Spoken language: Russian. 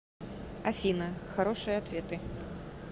афина хорошие ответы